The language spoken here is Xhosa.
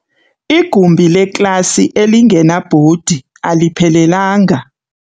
Igumbi leklasi elingenabhodi aliphelelanga.